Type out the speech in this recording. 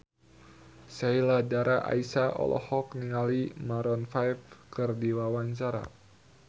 Sheila Dara Aisha olohok ningali Maroon 5 keur diwawancara